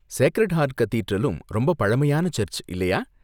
Sacred heart கதீட்ரலும் ரொம்ப பழமையான சர்ச்சு, இல்லையா?